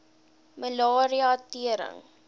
malaria tering